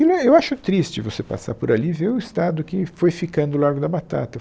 E e eu acho triste você passar por ali e ver o estado que foi ficando o Largo da Batata.